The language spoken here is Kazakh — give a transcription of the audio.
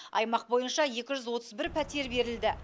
аймақ бойынша екі жүз отыз бір пәтер берілді